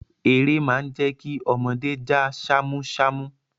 Eré má ń jẹ́ kí ọmọdé já ṣámúṣámú.